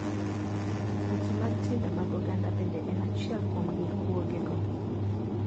Weche mag timbe mag oganda bende en achiel kuom ng'ikruoge go.